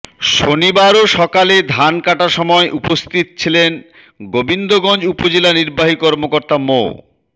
শনিবারও সকালে ধান কাটা সময় উপস্থিত ছিলেন গোবিন্দগঞ্জ উপজেলা নির্বাহী কর্মকর্তা মো